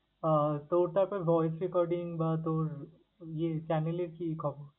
আহ তো ওটা তোর voice recording বা তোর channel কি খবর?